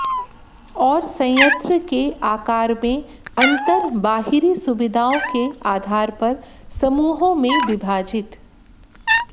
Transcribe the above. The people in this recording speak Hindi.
और संयंत्र के आकार में अंतर बाहरी सुविधाओं के आधार पर समूहों में विभाजित